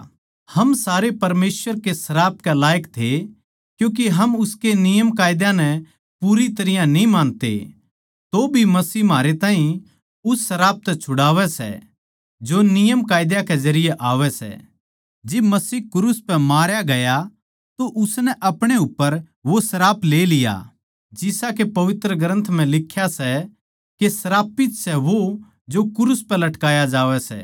हम सारे परमेसवर के श्राप के लायक थे क्यूँके हम उसके नियमकायदा नै पूरी तरियां न्ही मानते तोभी मसीह म्हारै ताहीं उस श्राप तै छुड़ावै सै जो नियमकायदा के जरिये आवै सै जिब मसीह क्रूस पै मारया गया तो उसनै अपणे उप्पर वो श्राप ले लिया जिसा के पवित्र ग्रन्थ म्ह लिख्या सै के श्रापित सै वो जो क्रूस पे लटकाया जावै सै